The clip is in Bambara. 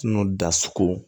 N'o dasuko